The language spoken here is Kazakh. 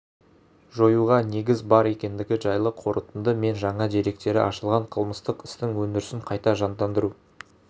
жоюға негіз бар екендігі жайлы қорытынды мен жаңа деректері ашылған қылмыстық істің өндірісін қайта жандандыру